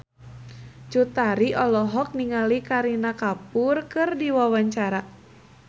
Cut Tari olohok ningali Kareena Kapoor keur diwawancara